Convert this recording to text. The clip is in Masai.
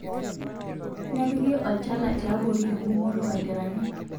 Nepiki olchala tiabori engumoto aiteraki